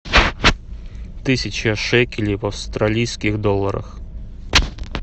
тысяча шекелей в австралийских долларах